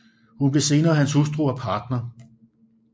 Hun blev senere hans hustru og partner